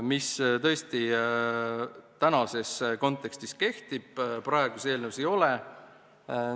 Viivised praegu kehtivad, eelnõus neid ei ole.